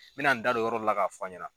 N bɛ na n da don yɔrɔ dɔ la k'a fɔ a' ɲɛna.